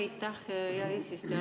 Aitäh, hea eesistuja!